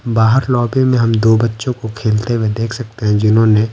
बाहर लॉबी में हम दो बच्चों को खेलते हुए देख सकते हैं जिन्होंने--